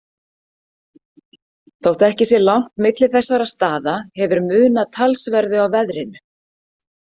Þótt ekki sé langt milli þessara staða hefur munað talsverðu á veðrinu.